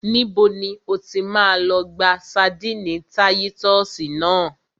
Níbo ni o ti máa lọ gba ṣadínnì táyítọ́sì náà?